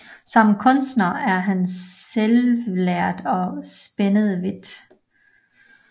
Som kunstner er han selvlært og spænder vidt